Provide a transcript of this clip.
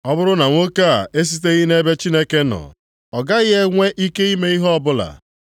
Ọ bụrụ na nwoke a esiteghị nʼebe Chineke nọ, ọ gaghị enwe ike ime ihe ọbụla.”